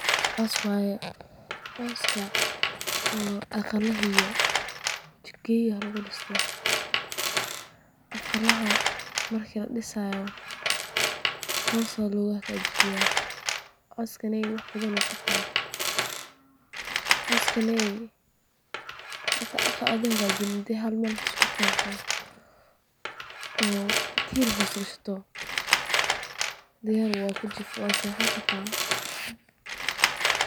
Coos waye, cooska oo aqalaha iyo jikada lagu diso, aqalka marka ladisaayo wax weyn ayuu qabtaa, hadii tiir hoos gashato diyaar wye waad seexan kartaa.